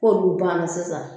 'k'olu banna sisan